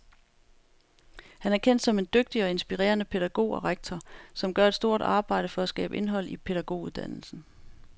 Han er kendt som en dygtig og inspirerende pædagog og rektor, som gør et stort arbejde for at skabe indhold i pædagoguddannelsen.